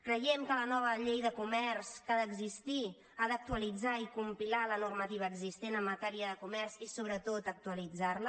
creiem que la nova llei de comerç que ha d’existir ha d’actualitzar i compilar la normati·va existent en matèria de comerç i sobretot actualit·zar·la